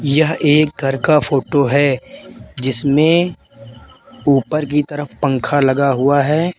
यह एक घर का फोटो है जिसमें ऊपर की तरफ पंख लगा हुआ है।